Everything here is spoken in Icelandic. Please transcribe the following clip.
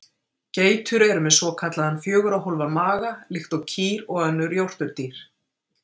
Geitur eru með svokallaðan fjögurra hólfa maga líkt og kýr og önnur jórturdýr.